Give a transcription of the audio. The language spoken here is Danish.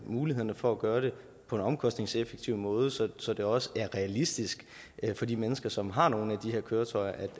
mulighederne for at gøre det på en omkostningseffektiv måde så så det også er realistisk for de mennesker som har nogle af de her køretøjer